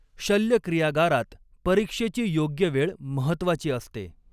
शल्यक्रियागारात परीक्षेची योग्य वेळ महत्त्वाची असते.